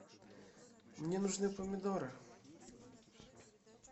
мне нужны помидоры